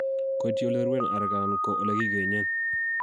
koityi oleruen areek anan ko ole kigenyen